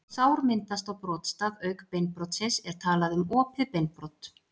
Ef sár myndast á brotstað auk beinbrotsins er talað um opið beinbrot.